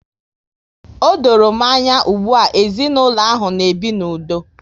O dọrọ m anya ugbua, ezinaụlọ ahụ na-ebi n'udo